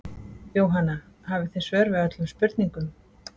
Jóhanna: Hafið þið svör við öllum spurningum?